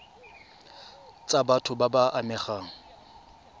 tsa batho ba ba amegang